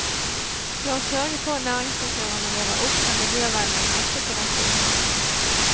La oss sørge for at næringsutøverne våre opptrer miljøvennlig også på dette området.